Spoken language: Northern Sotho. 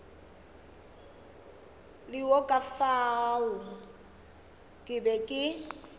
ka fao ke bego ke